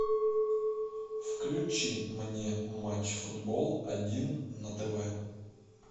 включи мне матч футбол один на тв